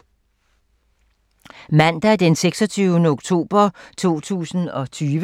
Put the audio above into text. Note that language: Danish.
Mandag d. 26. oktober 2020